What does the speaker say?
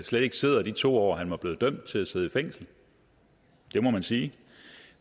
slet ikke sidder i de to år han var blevet dømt til at sidde i fængsel det må man sige